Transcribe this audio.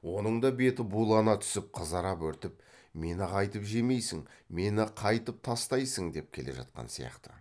оның да беті булана түсіп қызара бөртіп мені қайтіп жемейсің мені қайтіп тастайсың деп келе жатқан сияқты